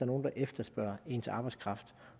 nogle der efterspørger ens arbejdskraft